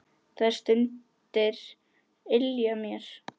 Þær stundir ylja mér.